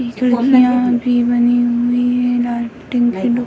खिड़कियाँ भी बनी हुई है लाइटिंग भी --